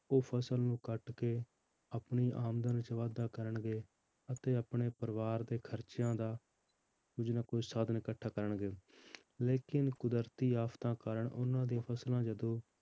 ਉਹ ਫਸਲ ਨੂੰ ਕੱਟ ਕੇ ਆਪਣੀ ਆਮਦਨ ਵਿੱਚ ਵਾਧਾ ਕਰਨਗੇ ਅਤੇ ਆਪਣੇ ਪਰਿਵਾਰ ਦੇ ਖ਼ਰਚਿਆਂ ਦਾ ਕੁੱਝ ਨਾ ਕੁੱਝ ਸਾਧਨ ਇਕੱਠਾ ਕਰਨਗੇ ਲੇਕਿੰਨ ਕੁਦਰਤੀ ਆਫ਼ਤਾਂ ਕਾਰਨ ਉਹਨਾਂ ਦੀਆਂ ਫਸਲਾਂ ਜਦੋਂ